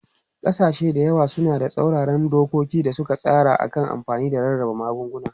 Kasashe da yawa suna da tsauraran dokoki da suka tsara a kan amfani da rarraba magunguna.